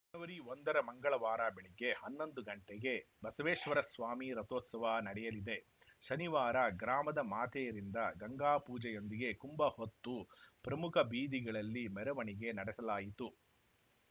ಜನವರಿ ಒಂದರ ಮಂಗಳವಾರ ಬೆಳಗ್ಗೆ ಹನ್ನೊಂದು ಗಂಟೆಗೆ ಬಸವೇಶ್ವರಸ್ವಾಮಿ ರಥೋತ್ಸವ ನಡೆಯಲಿದೆ ಶನಿವಾರ ಗ್ರಾಮದ ಮಾತೆಯರಿಂದ ಗಂಗಾ ಪೂಜೆಯೊಂದಿಗೆ ಕುಂಬ ಹೊತ್ತು ಪ್ರಮುಖ ಬೀದಿಗಳಲ್ಲಿ ಮೆರವಣಿಗೆ ನಡೆಸಲಾಯಿತು